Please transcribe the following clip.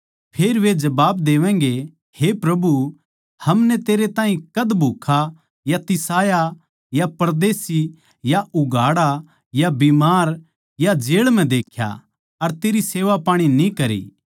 फेर वे जबाब देवैगें हे प्रभु हमनै तेरै ताहीं कद भूक्खा या तिसाया या परदेशी या उघाड़ा या बीमार या जेळ म्ह देख्या अर तेरी सेवापाणी न्ही करी